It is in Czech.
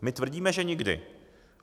My tvrdíme, že nikdy.